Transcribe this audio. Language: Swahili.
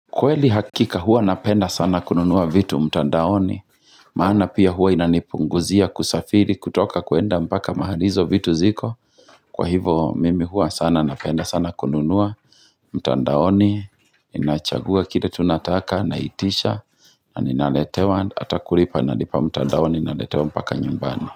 Kweli hakika huwa napenda sana kununua vitu mtandaoni Maana pia huwa inanipunguzia kusafiri kutoka kwenda mpaka mahali izo vitu ziko Kwa hivo mimi huwa sana napenda sana kununua mtandaoni inachagua kile tu nataka naitisha na ninaletewa ata kulipa nalipa mtandaoni naletewa mpaka nyumbani.